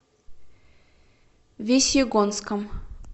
весьегонском